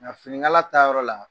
Nka finiŋala ta yɔrɔ la